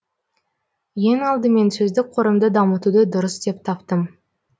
ең алдымен сөздік қорымды дамытуды дұрыс деп таптым